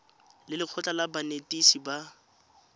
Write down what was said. le lekgotlha la banetetshi ba